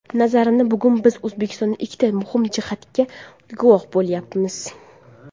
Nazarimda, bugun biz O‘zbekistonda ikkita muhim jihatga guvoh bo‘layapmiz.